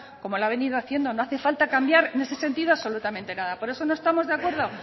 como lo ha venido haciendo no hace falta cambiar en ese sentido absolutamente nada por eso no estamos de acuerdo